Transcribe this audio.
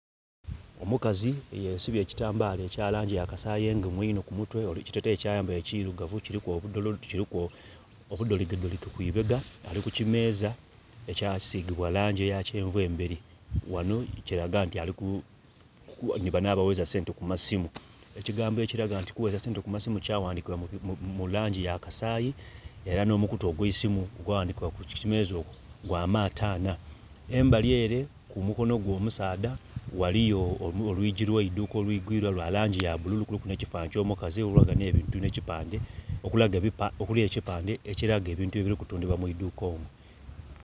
Omukazi yesibye ekitambaala ekya langi ya kasayi engumu einho ku mutwe, ekiteteeyi kyayambaile kirugavu kiliku obudoli..kuliku obudholigedholige ku ibega. Ali ku kimeeza ekyasigibwa langi eya kyenvu emberi. Ghano kiraga nti ali ku...nhi bano abaghereza sente ku masimu. Ekigambo ekiraga nti kuwereza sente ku masimu kyawandikibwa mu langi ya kasayi, era nh'omukutu ogw'eisimu ogwa ghandhikibwa ku kimeeza okwo gwa M.T.N. Embali ere ku mukono gwe omusaadha waliyo olwigi lw'eidhuka olwigwilwa lwa langi ya bululu kuliku nh'ekipande kyo mukazi, olulaga nh'ebintu nh'ekipande okulaga, okuli ekipande ekilaga ebintu ebili kutundhibwa mu idhuka omwo.